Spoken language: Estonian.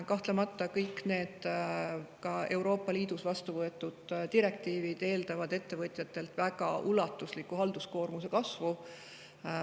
Kahtlemata, ka kõik Euroopa Liidus vastu võetud direktiivid eeldavad ettevõtjate halduskoormuse väga ulatuslikku kasvu.